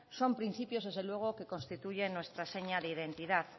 son principios desde luego que constituyen nuestra seña de identidad